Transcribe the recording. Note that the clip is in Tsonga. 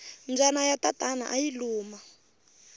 mbyana ya tatana ayi luma